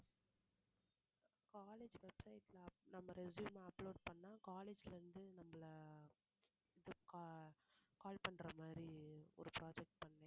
college websites ல நம்ம resume upload பண்ணா college ல இருந்து நம்மளை இது ca~ call பண்ற மாதிரி ஒரு project பண்ணேன்